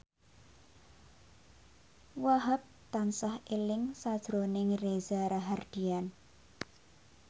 Wahhab tansah eling sakjroning Reza Rahardian